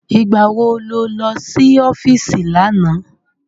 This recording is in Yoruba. Ìgbá wo ló lọ sí ọ́fíìsì lánàá?